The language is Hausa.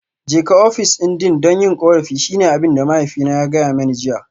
Jeka ofishin Deans don yin korafi shine abin da mahaifina ya gaya mani jiya